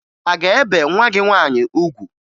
A ga-ebe nwa gị nwaanyị ugwu?